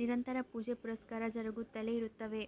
ನಿರಂತರ ಪೂಜೆ ಪುರಸ್ಕಾರ ಜರುಗುತ್ತಲೇ ಇರುತ್ತವೆ